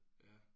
Ja